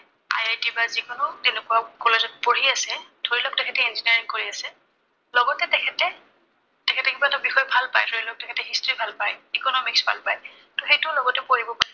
IIT বা যি কোনো তেনেকুৱা college ত পঢ়ি আছে। ধৰি লওঁক তেখেতে engineering কৰি আছে। লগতে তেখেতে, তেখেতে কিবা এটা বিষয় ভাল পায়, ধৰি লওঁক তেখেতে history ভাল পায়, economics ভাল পায়, ত সেইটোও লগতে পঢ়িব পাৰিব।